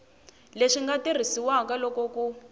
leswi nga tirhisiwaka loko ku